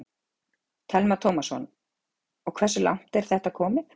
Telma Tómasson: Og hversu langt er þetta komið?